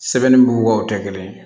Sɛbɛnni bugubaw tɛ kelen ye